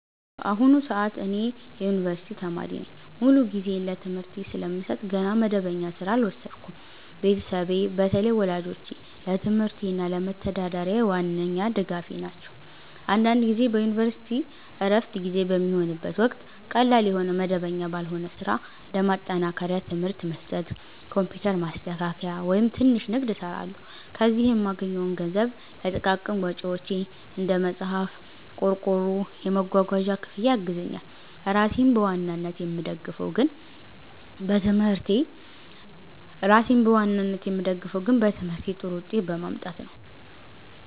በአሁኑ ሰዓት እኔ የዩኒቨርሲቲ ተማሪ ነኝ። ሙሉ ጊዜዬን ለትምህርቴ ስለምሰጥ ገና መደበኛ ሥራ አልወሰድኩም። ቤተሰቤ፣ በተለይ ወላጆቼ፣ ለትምህርቴ እና ለመተዳደሪያዬ ዋነኛ ድጋፌ ናቸው። አንዳንድ ጊዜ በዩኒቨርሲቲ ዕረፍት ጊዜ በሚሆንበት ወቅት ቀላል የሆነ መደበኛ ባልሆነ ሥራ (እንደ ማጠናከሪያ ትምህርት መስጠት፣ ኮምፒውተር ማስተካከያ፣ ወይም ትንሽ ንግድ) እሰራለሁ። ከዚህ የምገኘው ገንዘብ ለጥቃቅን ወጪዎቼ (እንደ መጽሐፍ፣ ቆርቆሮ፣ የመጓጓዣ ክፍያ) ያግዘኛል። ራሴን በዋናነት የምደግፈው ግን በትምህርቴ ጥሩ ውጤት በማምጣት ነው።